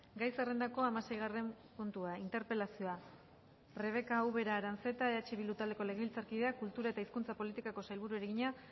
gai zerrendako hamaseigarren puntua interpelazioa rebeka ubera aranzeta eh bildu taldeko legebiltzarkideak kultura eta hizkuntza politikako sailburuari egina